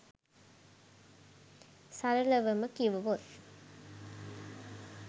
සරලවම කිව්වොත්